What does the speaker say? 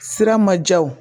Sira ma diya o